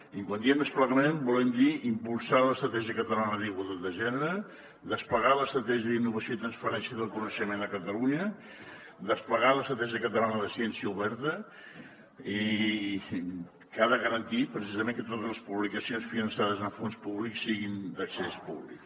i quan diem desplegament volem dir impulsar l’estratègia catalana d’igualtat de gènere desplegar l’estratègia d’innovació i transferència del coneixement a catalunya desplegar l’estratègia catalana de ciència oberta i que ha de garantir precisament que totes les publicacions finançades amb fons públics siguin d’accés públic